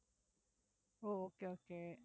O okay okay